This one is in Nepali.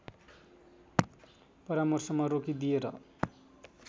परामर्शमा रोकिदिएर